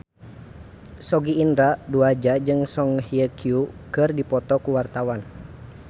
Sogi Indra Duaja jeung Song Hye Kyo keur dipoto ku wartawan